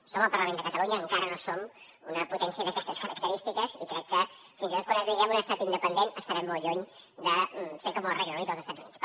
som el parlament de catalunya encara no som una potència d’aquestes característiques i crec que fins i tot quan esdevinguem un estat independent estarem molt lluny de ser com el regne unit o els estats units